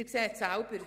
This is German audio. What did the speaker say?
Sie sehen es selber: